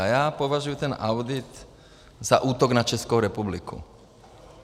A já považuji ten audit za útok na Českou republiku.